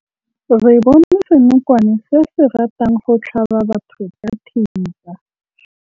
Re bone senokwane se se ratang go tlhaba batho ka thipa.